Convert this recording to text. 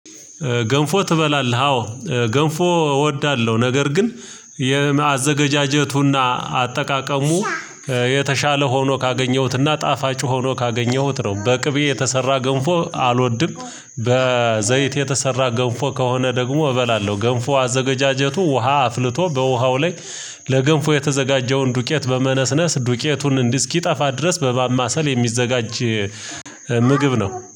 ገንፎ ትበላለህ? አዎ ገንፎ እወዳለሁ ነገር ግን የመአዘገጃጀቱና አጠቃቀሙ የተሻለ ሆኖ ካገኘሁትና ጣፋጭ ሆኖ ካገኘሁት ነው። በቅቤ የተሰራ ገንፎ አልወድም በዘይት የተሰራ ገንፎ ከሆነ ደግሞ እበላለሁ። ገንፎ አዘገጃጀቱ ውሃ አፍልቶ በውሃው ላይ ለገንፎ የተዘጋጀውን ዱቄት በመነስነስ ዱቄቱን እንዲህ እስኪጠፋ ድረስ በባማሰል የሚዘጋጅ ምግብ ነው